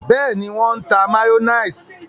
Bẹẹni, wọn n tá mayonnaise